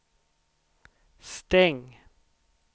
stäng